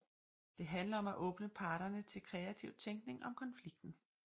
Det handler om at åbne parterne til kreativ tænkning om konflikten